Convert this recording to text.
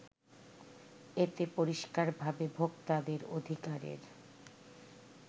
এতে পরিস্কারভাবে ভোক্তাদের অধিকারের